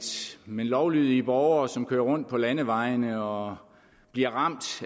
men hos lovlydige borgere som kører rundt på landevejene og bliver ramt